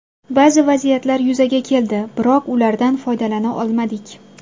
Ba’zi vaziyatlar yuzaga keldi, biroq ulardan foydalana olmadik.